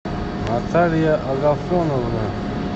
наталья агафоновна